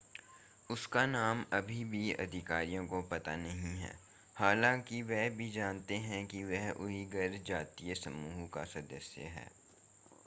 उसका नाम अभी भी अधिकारियों को पता नहीं है हालांकि वे जानते हैं कि वह उइघर जातीय समूह का सदस्य है